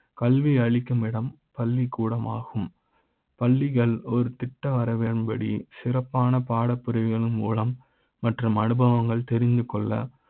கல்வி அளிக்கும் இடம் பள்ளிக் கூட ம் ஆகும் பள்ளிகள் ஒரு திட்ட வரவேற்ப தே சிறப்பான பாடப்பிரிவுகள் மூலம் மற்றும் அனுபவ ங்கள் தெரிந்துகொள்ள